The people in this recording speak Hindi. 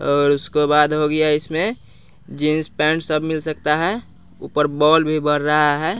और उसके बाद हो गया इसमें जींस पैंट सब मिल सकता है ऊपर बॉल भी बर रहा है।